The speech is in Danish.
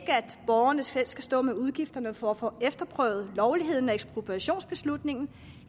borgerne selv skal stå med udgifterne for at få efterprøvet lovligheden af ekspropriationsbeslutningen